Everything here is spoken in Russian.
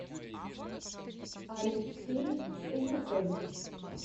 алексей лукович